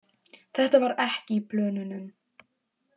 Þetta var ekki í plönunum.